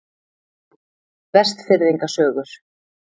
Vestfirðinga sögur.